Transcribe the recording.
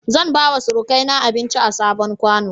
Zan bawa surukaina abinci a sabon ƙwano.